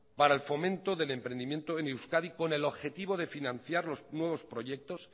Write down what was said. para el fomento del emprendimiento en euskadi con el objetivo de financiar los nuevos proyectos